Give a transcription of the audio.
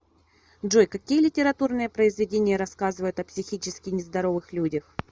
джой какие литературные произведения рассказывают о психически нездоровых людях